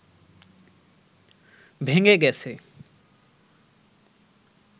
ভেঙে গেছে